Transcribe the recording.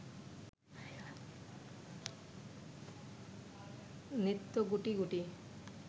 নিত্য গুটি গুটি